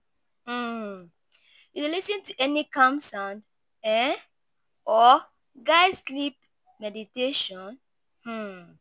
um you lis ten to any calm sound um or guide sleep meditation? um